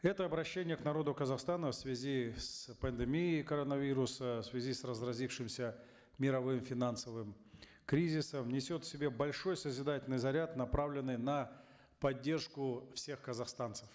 это обращение к народу казахстана в связи с пандемией коронавируса в связи с разразившимся мировым финансовым кризисом несет в себе большой созидательный заряд направленный на поддержку всех казахстанцев